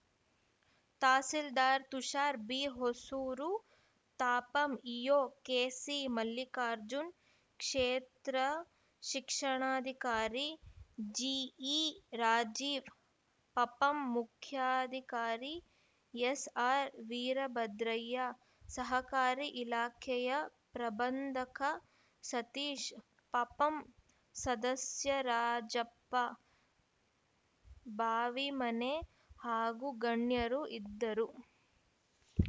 tahsildar Tushar B Hosur ತಾಪಂ EO KC Mallikarjun ಕ್ಷೇತ್ರ ಶಿಕ್ಷಣಾಧಿಕಾರಿ ಜಿಈರಾಜೀವ್‌ ಪಪಂ ಮುಖ್ಯಾಧಿಕಾರಿ ಎಸ್‌ಆರ್‌ವೀರಭದ್ರಯ್ಯ ಸಹಕಾರಿ ಇಲಾಖೆಯ ಪ್ರಬಂಧಕ ಸತೀಶ್‌ ಪಪಂ ಸದಸ್ಯ ರಾಜಪ್ಪ ಬಾವಿಮನೆ ಹಾಗೂ ಗಣ್ಯರು ಇದ್ದರು